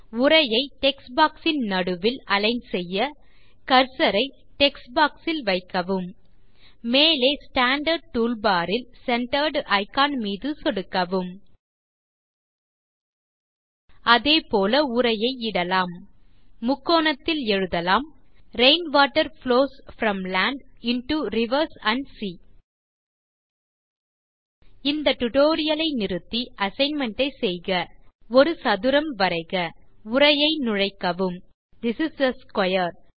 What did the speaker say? உரையை text box இன் நடுவில் அலிக்ன் செய்ய கர்சர் ஐ டெக்ஸ்ட் பாக்ஸ் ல் வைக்கவும் மேலே ஸ்டாண்டார்ட் டூல்பார் இல் சென்டர்ட் இக்கான் மீது சொடுக்கவும் அதே போல உரையை இடலாம் முக்கோணத்தில் எழுதலாம் rain water flows from land into rivers and sea இந்த டியூட்டோரியல் ஐ நிறுத்தி அசைன்மென்ட் ஐ செய்க ஒரு சதுரம் வரைக உரையை நுழைக்கவும் திஸ் இஸ் ஆ ஸ்க்வேர்